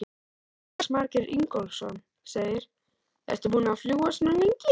Jónas Margeir Ingólfsson: Ertu búin að fljúga svona lengi?